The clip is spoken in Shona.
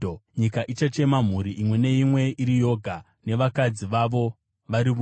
Nyika ichachema, mhuri imwe neimwe iri yoga, nevakadzi vavo vari voga: